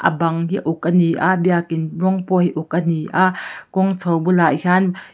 a bang hi a uk ani a biakin rawng pawh hi a uk ani a kawng chho bulah hian--